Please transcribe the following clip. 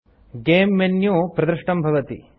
game menu प्रदृष्टं भवति